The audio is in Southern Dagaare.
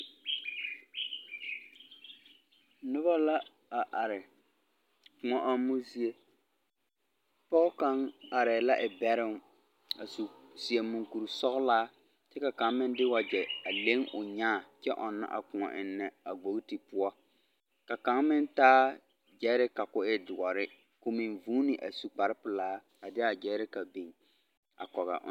Noba la a are kũɔ ɔmmo zie. pɔge kaŋ arɛɛ la e bɛroŋ, a su. .. seɛ muŋkuri sɔgelaa kyɛ ka kaŋ meŋ de wagyɛ a leŋ o nyaa kyɛ ɔnnɔ a kõɔ ennɛ a bogiti poɔ. Ka kaŋa meŋ taa gyɛreka ka o zeɛ ka o meŋ guuni a su kpare pelaa a de a gyɛreka biŋ kɔge a…